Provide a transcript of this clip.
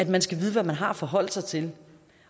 man skal vide hvad man har at forholde sig til